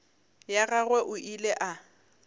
ya gagwe o ile a